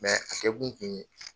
a kɛkun kun ye